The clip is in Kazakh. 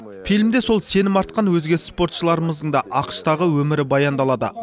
фильмде сол сенім артқан өзге спортшыларымыздың да ақш тағы өмірі баяндалады